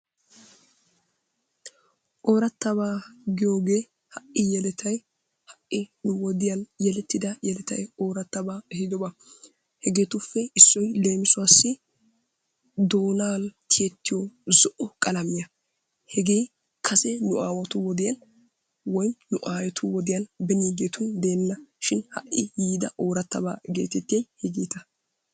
Orattaba giyogge ha'i yelettay ha'i nu wodiyan yelettida yelettay ehiido ba hegeetuppe issoy leemissuwassi doonani tiyetiyo zo"o qalamiyaa hegee kase nu aawatu wodiyan woykko nu ayetu wodiyan woy benigeetu wodiyan dena shin ha'i yidaa ooratabaa getettiyahegettaa.